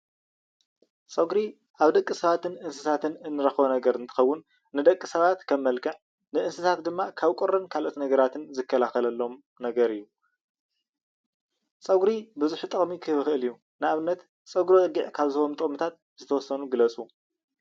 ፀጉሪ ኣብ ደቂ ሰባት እንስሳታትን እንረኽቦ ነገር እንትኸውን ንደቂ ሰባት ከም መልክዕ ንእንስሳታት ድማ ካብ ቁርን ካብ ካልኦት ነገራትን ዝከላኸለሎም ነገር እዩ፡፡ ፀጉሪ ብዙሕ ጠቅሚ ክህብ ይኽእል እዩ፡፡ ንኣብነት ፀጉሪ በጊዕ ካብ ዝህቦም ጥቕምታት ዝተወሰኑ ግለፁ?